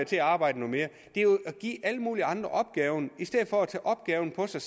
til at arbejde noget mere det er jo at give alle mulige andre opgaven i stedet for at tage opgaven på sig